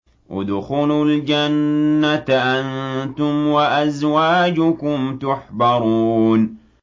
ادْخُلُوا الْجَنَّةَ أَنتُمْ وَأَزْوَاجُكُمْ تُحْبَرُونَ